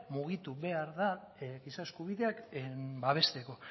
mugitu behar da giza eskubideak babesteko